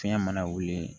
Fiɲɛ mana wuli